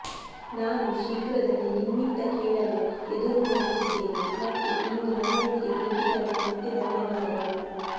ನಾನು ಶೀಘ್ರದಲ್ಲಿ ನಿಮ್ಮಿಂದ ಕೇಳಲು ಎದುರುನೋಡುತ್ತಿದ್ದೇವೆ ಮತ್ತು ಇಂದು ನನ್ನೊಂದಿಗೆ ಭೇಟಿಗಾಗಿ ಮತ್ತೆ ಧನ್ಯವಾದಗಳು